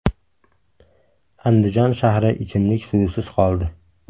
Andijon shahri ichimlik suvisiz qoldi.